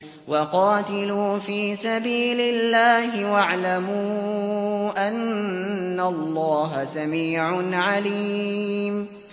وَقَاتِلُوا فِي سَبِيلِ اللَّهِ وَاعْلَمُوا أَنَّ اللَّهَ سَمِيعٌ عَلِيمٌ